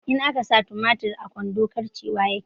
In akasa tumatir a kwando karcewa yake